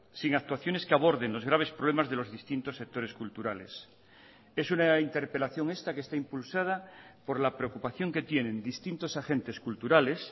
sin actuaciones que aborden los graves problemas de los distintos sectores culturales es una interpelación esta que está impulsada por la preocupación que tienen distintos agentes culturales